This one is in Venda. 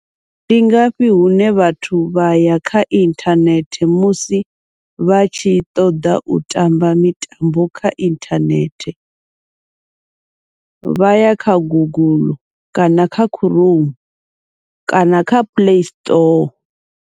Ndi ngafhi hune vhathu vha ya kha inthanethe musi vha tshi ṱoḓa u tamba mitambo kha inthanethe, vha ya kha guguḽu kana kha khuroumu kana kha play store.